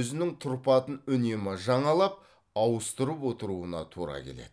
өзінің тұрпатын үнемі жаңалап ауыстырып отыруына тура келеді